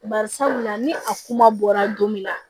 Bari sabula ni a kuma bɔra don min na